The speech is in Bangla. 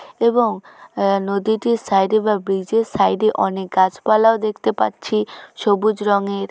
এবং আ নদীটির সাইডে বা ব্রিজের সাইডে অনেক গাছপালাও দেখতে পাচ্ছি সবুজ রঙের।